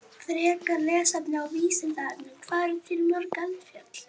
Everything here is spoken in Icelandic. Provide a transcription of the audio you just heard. Frekara lesefni á Vísindavefnum: Hvað eru til mörg eldfjöll?